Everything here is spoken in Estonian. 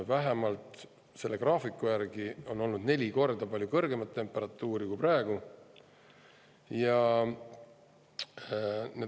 Vähemalt selle graafiku järgi on olnud neli korda kõrgemat temperatuuri kui praegu.